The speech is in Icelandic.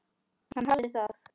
Hann hafði það.